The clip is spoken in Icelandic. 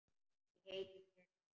Ég heiti þér því.